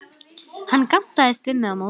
Hann gantaðist við mig á móti.